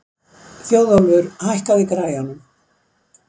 Þjóðólfur, hækkaðu í græjunum.